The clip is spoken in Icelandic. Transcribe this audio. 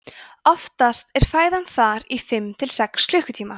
oftast er fæðan þar í fimm til sex klukkutíma